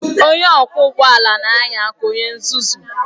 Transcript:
Onye ọkwọ ụgbọ ala na-anya ka onye nzuzu